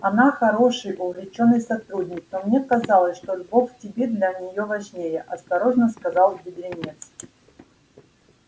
она хороший увлечённый сотрудник но мне казалось что любовь к тебе для неё важнее осторожно сказал бедренец